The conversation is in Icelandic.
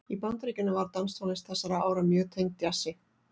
Í Bandaríkjunum var danstónlist þessara ára mjög tengd djassi.